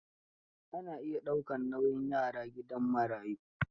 Ana iya daukar nauyin yaran gidan marayu.